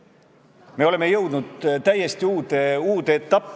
See näitab seda, et te peate neid alaarenenuteks, inimesteks, kes ei suuda eesti keelt õppida.